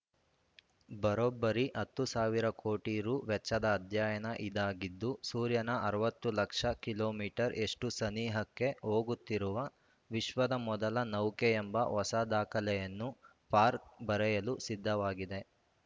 ಬರೋಬ್ಬರಿ ಹತ್ತು ಸಾವಿರ ಕೋಟಿ ರು ವೆಚ್ಚದ ಅಧ್ಯಯನ ಇದಾಗಿದ್ದು ಸೂರ್ಯನ ಅರವತ್ತು ಲಕ್ಷ ಕಿಲೋ ಮೀಟರ್ ಯಷ್ಟುಸನಿಹಕ್ಕೆ ಹೋಗುತ್ತಿರುವ ವಿಶ್ವದ ಮೊದಲ ನೌಕೆ ಎಂಬ ಹೊಸ ದಾಖಲೆಯನ್ನು ಪಾರ್ಕರ್‌ ಬರೆಯಲು ಸಿದ್ಧವಾಗಿದೆ